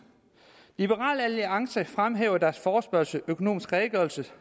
liberal alliance fremhæver i deres forespørgsel at økonomisk redegørelse